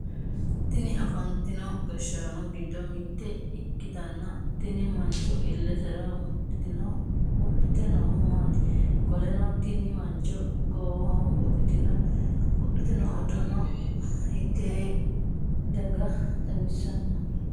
Tinni afantino gashaano gido mitte ikitanna tinni mancho ilesera wodhite noohu maati? Qoleno tinni mancho goowaho wudhite noo udano hiitee daga xawissanno?